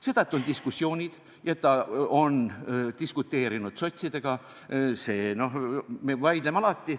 Seda, et on diskussioonid ja et ta on diskuteerinud sotsidega – noh, me vaidleme alati.